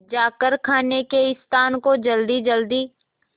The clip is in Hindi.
जाकर खाने के स्थान को जल्दीजल्दी